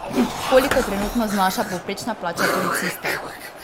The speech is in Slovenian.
Koliko trenutno znaša povprečna plača policista?